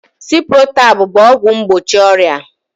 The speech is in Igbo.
Ciprotab bụ ọgwụ mgbochi ọrịa